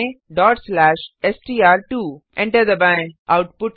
type करें str2 enter दबाएँ